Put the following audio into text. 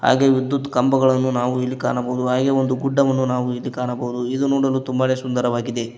ಹಾಗೆ ವಿದ್ಯುತ್ ಕಂಬಗಳನ್ನು ನಾವು ಇಲ್ಲಿ ಕಾಣಬಹುದು ಹಾಗೆ ಒಂದು ಗುಡ್ಡವನ್ನು ನಾವು ಇಲ್ಲಿ ಕಾಣಬಹುದು ಇದು ನೋಡಲು ತುಂಬಾ ಸುಂದರವಾಗಿದೆ.